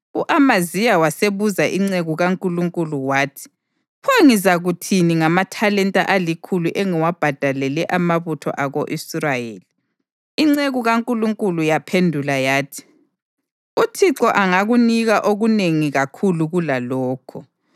U-Amaziya wasebuza inceku kaNkulunkulu wathi, “Pho ngizakuthini ngamathalenta alikhulu engiwabhadalele amabutho ako-Israyeli?” Inceku kaNkulunkulu yaphendula yathi, “ UThixo angakunika okunengi kakhulu kulalokho.”